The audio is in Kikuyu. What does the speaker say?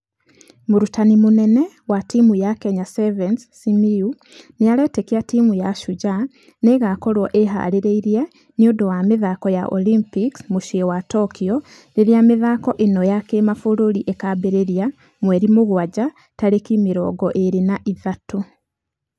Mũrutani mũnene wa timũ ya kenya sevens simiyu nĩarĩtĩkia timũ ya shujaa nĩigakorwo ĩharĩirie nĩũndũ wa mĩthako ya Olympics mũciĩ wa tokyo rĩrĩ mĩthako ĩno ya kĩmabũrũrĩ ĩkambĩrĩria mweri mũgwaja tarĩki mĩrongo ĩrĩ na ithatũ.